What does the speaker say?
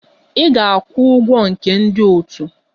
Ị ga-akwụ ụgwọ nke ndị otu!